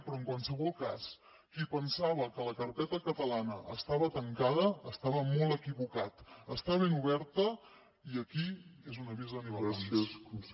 però en qualsevol cas qui pensava que la carpeta catalana estava tancada estava molt equivocat està ben oberta i aquí és un avís a navegants